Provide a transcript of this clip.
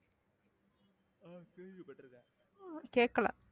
கேட்கலை